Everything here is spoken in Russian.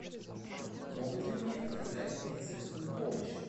могут ли мне оказать медицинскую помощь